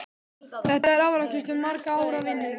Þetta er afrakstur margra ára vinnu?